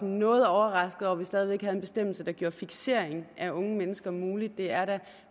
noget overrasket over at vi stadig væk havde en bestemmelse der gjorde fiksering af unge mennesker mulig det er da